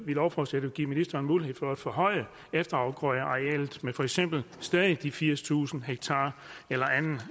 lovforslaget give ministeren mulighed for at forhøje efterafgrødearealet med for eksempel stadig de firstusind ha eller anden